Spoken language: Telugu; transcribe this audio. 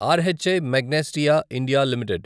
ర్హి మాగ్నెస్టియా ఇండియా లిమిటెడ్